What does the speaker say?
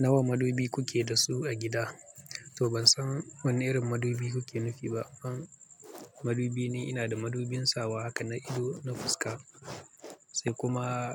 Nawa madubi kuke da su a gida? To ban san wana irin madubi kuke nufi ba. Madubi ni ina da madubin sawa haka na ido na fuska sai kuma